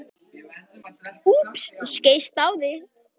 Kubbur, kveiktu á sjónvarpinu.